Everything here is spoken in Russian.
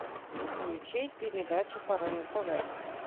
включи передачу по рен тв